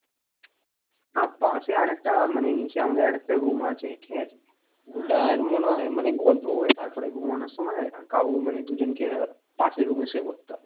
না পাশে আরেকটা মানে নিচে আমাদের একটা room আছে ঠিক আছে ওটা আর মনে হয় মানে গল্প করে তারপরে ঘুমানোর সময় কাউ দুজনকে পাশের room এ শুয়ে পড়তে হবে